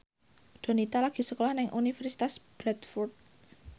Donita lagi sekolah nang Universitas Bradford